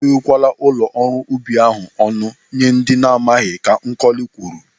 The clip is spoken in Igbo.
E ghewe kwala ụlọ ọrụ ubi ahụ ọnụ nye ndị ana amaghị, Ka Nkọli kwuru.